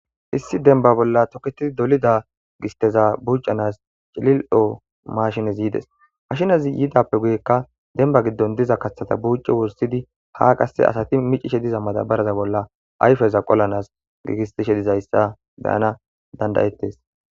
Issi denba bolla toketidi dolida gisteza bucanas cilil7o mashinezi yides mashinazi yidappe guyekka denba giddon diza kaththeta buucci wursidi ha qasse asati micishe diza mada baraza bolla ayfeza qolanas giigistishe dizayssa beyana dandayettes.